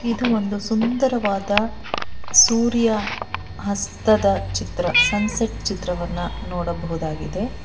ಇದು ಒಂದು ಸುಂದರವಾದ ಸೂರ್ಯ ಹಸ್ತದ ಚಿತ್ರ ಸನ್ಸೆಟ್ ಚಿತ್ರವನ್ನ ನೋಡಬಹುದಾಗಿದೆ.